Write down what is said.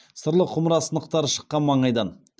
сырлы құмыра сынықтары шыққан маңайдан